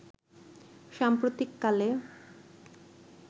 সাম্প্রতিক কালে